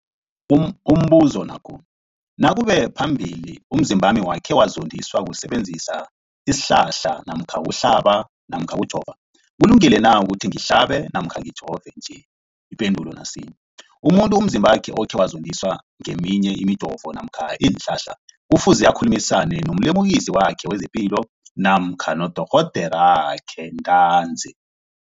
Umbuzo, nakube phambilini umzimbami wakhe wazondiswa kusebenzisa isihlahla namkha ukuhlaba namkha ukujova, kulungile na ukuthi ngihlabe namkha ngijove nje? Ipendulo, umuntu umzimbakhe okhe wazondiswa ngeminye imijovo namkha iinhlahla kufuze akhulumisane nomlimukisi wakhe wezepilo namkha nodorhoderakhe ntanzi.